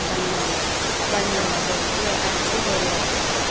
ಬಣ್ಣಯೆಲ್ಲ ಬಣ್ಣಯೆಲ್ಲ ಬಳ್ದು ಆ ರೀತಿ Holi ಆಚರಿಸ್ತೇವೆ.